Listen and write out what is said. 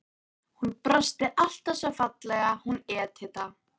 Hún brosti alltaf svo fallega, hún Edita.